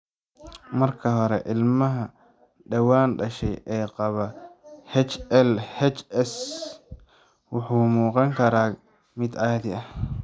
Marka hore, ilmaha dhawaan dhashay ee qaba HLHS wuxuu u muuqan karaa mid caadi ah.